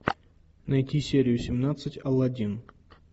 найти серию семнадцать аладдин